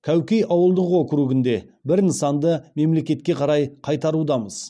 кәукей ауылдық округінде бір нысанды мемлекетке қарай қайтарудамыз